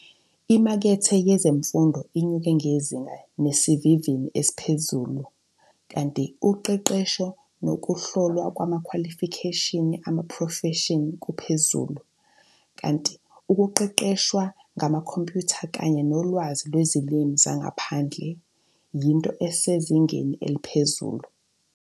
Imakethe yezemfundo inyuke ngezinga nesivinini esiphezulu, kanti uqeqesho nokuhlolwa kwamakhwalifikheshini amaprofeshini kuphezulu, kanti ukuqeqeshwa ngamakhompyutha kanye nolwazi lwezilimi zangaphandle, yinto esezingeni eliphezulu.